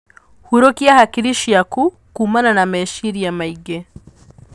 Hurũkia hakiri ciaku kumana na meciria maingĩ.